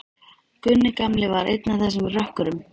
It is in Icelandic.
Gunni gamli var einn af þessum rökkurum.